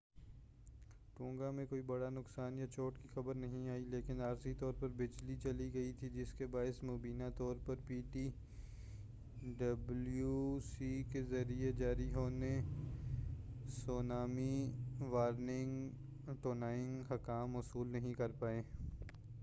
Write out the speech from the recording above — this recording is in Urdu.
ٹونگا میں کوئی بڑا نقصان یا چوٹ کی خبر نہیں آئی لیکن عارضی طور پر بجلی چلی گئی تھی جس کے باعث مبینہ طور پر پی ٹی ڈبلو سی کے ذریعہ جاری ہونے سونامی وارننگ ٹونگائی حکام موصول نہیں کر پائے